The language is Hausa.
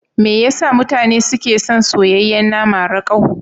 Me yasa mutane suke son soyayyen nama rakau?